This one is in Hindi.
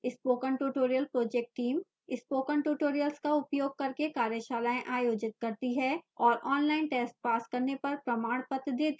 spoken tutorial project team spoken tutorials का उपयोग करके कार्यशालाएँ आयोजित करती है और ऑनलाइन टेस्ट पास करने पर प्रमाणपत्र देती है